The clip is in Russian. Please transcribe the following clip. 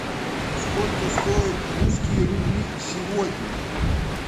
сколько стоят русские рубли сегодня